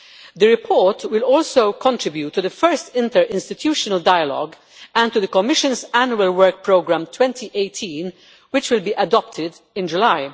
The report will also contribute to the first interinstitutional dialogue and to the Commission's Annual Work Programme 2018, which will be adopted in July.